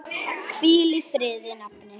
Hvíl í friði, nafni.